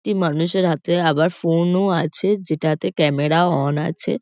একটি মানুষের হাতে আবার ফোন -ও আছে। যেটাতে ক্যামেরা -ও অন আছে।